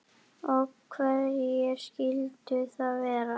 Og hverjir skyldu það vera?